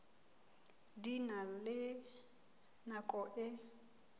di na le nako e